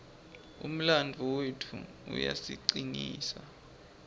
umlandvo wetfu uyasicinisa